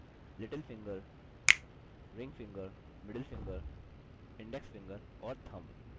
little fingerring fingermiddle finger index finger और thumb